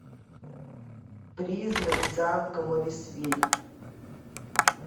призрак замка моррисвилль